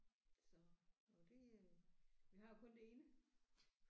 Så jo det øh vi har jo kun det ene